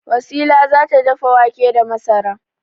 Wasila za ta dafa wake da masara.